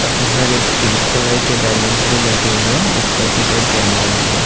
काफी सारे pink colour के बलुंस भी लगे हुए हे ऊपर की साइड केमरा भी हैं।